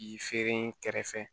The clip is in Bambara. I feere kɛrɛfɛ